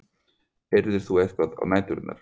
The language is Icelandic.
Heyrðir þú eitthvað á næturnar?